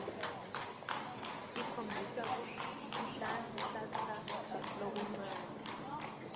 ikhombisa kunhlanhlatsa lokuncane